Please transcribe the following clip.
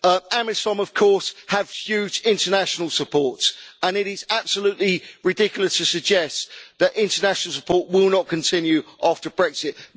AMISOM of course have huge international support, and it is absolutely ridiculous to suggest that international support will not continue after Brexit.